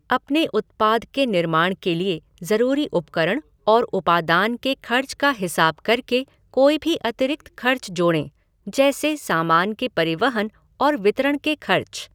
अपने उत्पाद के निर्माण के लिए ज़रूरी उपकरण और उपादान के खर्च का हिसाब करके कोई भी अतिरिक्त खर्च जोड़ें, जैसे सामान के परिवहन और वितरण के खर्च।